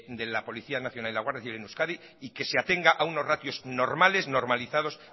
de la policía nacional y la guardia civil en euskadi y que se atenga a unos ratios normales normalizados